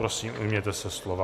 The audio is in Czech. Prosím, ujměte se slova.